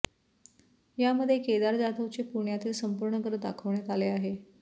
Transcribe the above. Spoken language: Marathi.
यामध्ये केदार जाधवचे पुण्यातील संपूर्ण घर दाखवण्यात आले आहे